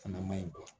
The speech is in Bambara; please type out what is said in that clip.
Fana man ɲi